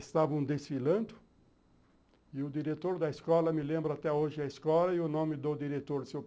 Estavam desfilando, e o diretor da escola, me lembro até hoje a escola, e o nome do diretor, o seu